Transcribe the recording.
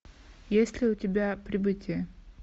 есть ли у тебя прибытие